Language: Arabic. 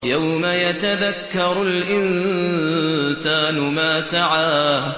يَوْمَ يَتَذَكَّرُ الْإِنسَانُ مَا سَعَىٰ